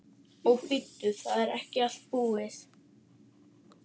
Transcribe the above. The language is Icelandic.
Og bíddu. það er ekki allt búið.